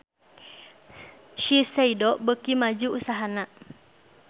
Shiseido beuki maju usahana